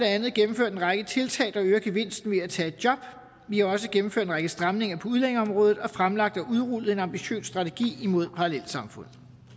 andet gennemført en række tiltag der øger gevinsten ved at tage et job vi har også gennemført en række stramninger på udlændingeområdet og fremlagt og udrullet en ambitiøs strategi imod parallelsamfund